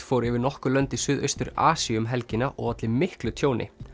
fór yfir nokkur lönd í Suðaustur Asíu um helgina og olli miklu tjóni